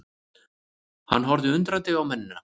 Hann horfði undrandi á mennina.